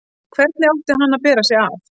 Hvernig átti hann að bera sig að?